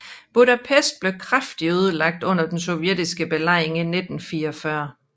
Budapest blev kraftigt ødelagt under den sovjetiske belejring i 1944